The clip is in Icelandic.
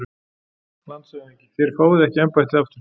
LANDSHÖFÐINGI: Þér fáið ekki embættið aftur